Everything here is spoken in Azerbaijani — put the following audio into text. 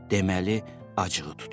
Deməli, acığı tutub.